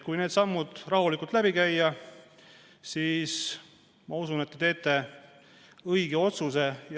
Kui need sammud rahulikult läbi käia, siis ma usun, et te teete õige otsuse.